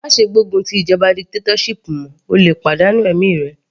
Má ṣe gbógun ti ìjọba dictatorship mọ́, o lè pàdánù ẹ̀mí rẹ.